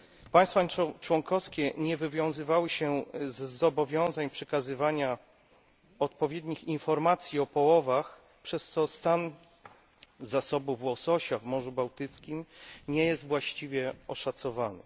Państwa członkowskie nie wywiązywały się z zobowiązań przekazywania odpowiednich informacji o połowach, przez co stan zasobów łososia w Morzu Bałtyckim nie jest właściwie oszacowany.